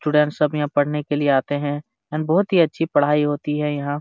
Student सब यहाँ पढ़ने के लिए आते है बहुत ही अच्छी पढ़ाई होती है यहाँ।